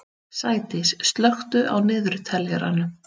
Sædís, slökktu á niðurteljaranum.